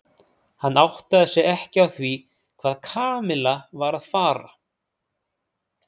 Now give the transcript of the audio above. Hann áttaði sig ekki á því hvað Kamilla var að fara.